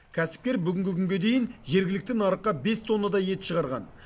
кәсіпкер бүгінгі күнге дейін жергілікті нарыққа бес тоннадай ет шығарған